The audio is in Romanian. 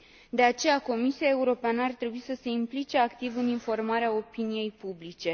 De aceea, Comisia Europeană ar trebui să se implice activ în informarea opiniei publice.